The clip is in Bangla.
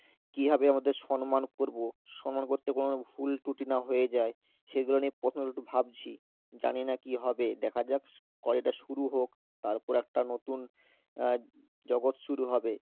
কিভাবে ওনাদের সম্মান করবো সম্মান করতে কোন ভুলত্রুটি না হয়ে যায় সেগুলো নিয়ে প্রশ্নগুলো একটু ভাবছি, জানিনা কি হবে দেখা যাক college টা শুরু হোক তারপর একটা নতুন আহ জগৎ শুরু হবে